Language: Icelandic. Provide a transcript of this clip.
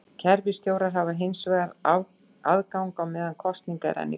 Kerfisstjórar hafa hins vegar aðgang á meðan kosning er enn í gangi.